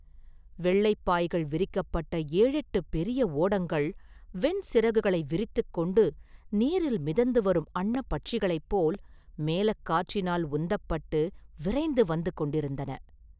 வெள்ளைப் பாய்கள் விரிக்கப்பட்ட ஏழெட்டுப் பெரிய ஓடங்கள், வெண்சிறகுகளை விரித்துக் கொண்டு நீரில் மிதந்து வரும் அன்னப் பட்சிகளைப் போல், மேலக் காற்றினால் உந்தப்பட்டு விரைந்து வந்து கொண்டிருந்தன.